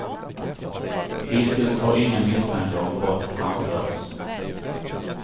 Hittills har inga misstankar om brott framförts.